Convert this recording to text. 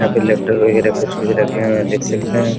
यहाँ पर लैपटॉप वगेरा कुछ-कुछ रखे हुए हैं देख सकते है ।